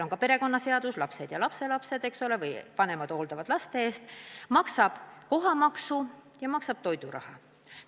Perekonnaseadus sätestab, et vanemad hoolitsevad laste eest, väikeste laste puhul maksavad lasteaia kohatasu ja ka toiduraha.